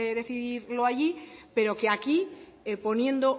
decidirlo allí pero que aquí poniendo